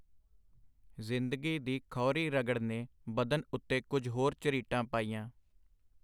ਜ਼ਿੰਦਗੀ ਦੀ ਖਹੁਰੀ ਰਗੜ ਨੇ ਬਦਨ ਉਤੇ ਕੁਝ ਹੋਰ ਝਰੀਟਾਂ ਪਾਈਆਂ.